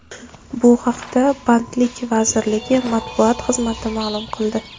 Bu haqda Bandlik vazirligi matbuot xizmati ma’lum qildi .